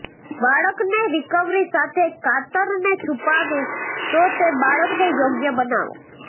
બાળકને રિકવરી સાથે કાતરને છુપાવે તો તે બાળકને યોગ્ય બનાવો